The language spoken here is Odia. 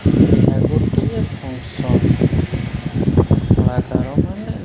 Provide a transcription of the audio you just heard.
ଏହା ଗୋଟିଏ ଫକ୍ସସନ୍ କଳାକାର ମାନେ --